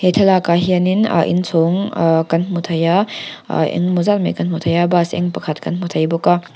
thlalak ah hian in ah in chhawng ahh kan hmu thei a ah eng e maw zat kan hmu thei a bus eng pakhat kan hmu thei bawk a.